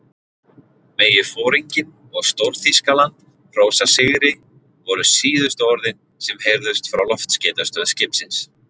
Megi foringinn og Stór-Þýskaland hrósa sigri voru síðustu orðin, sem heyrðust frá loftskeytastöð skipsins.